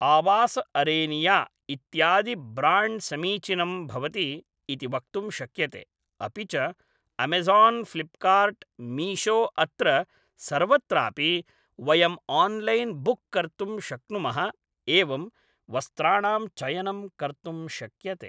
आवास अरेनिय इत्यादि ब्राण्ड् समीचीनं भवति इति वक्तुं शक्यते अपि च अमेज़ान् फ़्लिप्कार्ट् मीशो अत्र सर्वत्रापि वयम् ओन्लैन् बुक्कर्तुं शक्नुमः एवं वस्त्राणां चयनं कर्तुं शक्यते